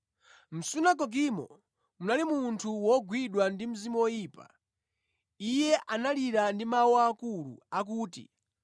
Mʼsunagogemo munali munthu wogwidwa ndi mzimu woyipa. Iye analira ndi mawu akulu, akuti